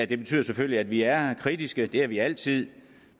det betyder selvfølgelig at vi er kritiske det er vi altid